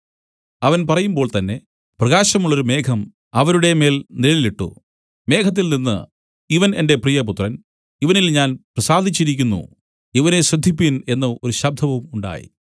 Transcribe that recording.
അവൻ പറയുമ്പോൾ തന്നേ പ്രകാശമുള്ളൊരു മേഘം അവരുടെ മേൽ നിഴലിട്ടു മേഘത്തിൽനിന്നു ഇവൻ എന്റെ പ്രിയപുത്രൻ ഇവനിൽ ഞാൻ പ്രസാദിച്ചിരിക്കുന്നു ഇവനെ ശ്രദ്ധിപ്പിൻ എന്നു ഒരു ശബ്ദവും ഉണ്ടായി